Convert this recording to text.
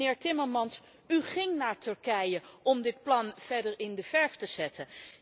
En meneer Timmermans, u ging naar Turkije om dit plan verder in de verf te zetten.